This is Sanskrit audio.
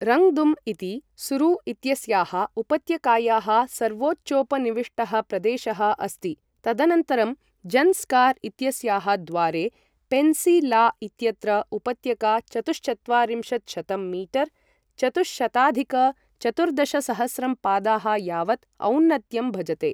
रङ्ग्दुम् इति सुरु इत्यस्याः उपत्यकायाः सर्वोच्चोपनिविष्टः प्रदेशः अस्ति, तदनन्तरं जन्स्कार् इत्यस्याः द्वारे पेन्सी ला इत्यत्र उपत्यका चतुश्चत्वारिंशत्शतं मीटर् चतुःशताधिक चतुर्दशसहस्रं पादाः यावत् औन्नत्यं भजते।